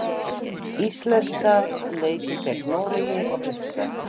Íslenska leikur gegn Noregi á fimmtudag.